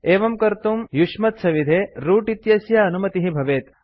एवं कर्तुं युष्मत्सविधे रूट इत्यस्य अनुमतिः भवेत्